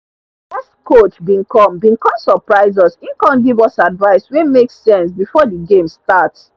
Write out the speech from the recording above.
guest coach been come been come surprise us e come give us advice wey make sense before the game start